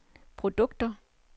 produkter